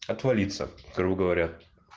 отвалится грубо говоря